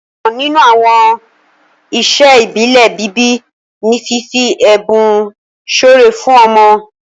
ọkan nínú àwọn iṣẹ ibile bíbí ní fífi ẹbùn súré fún ọmọ.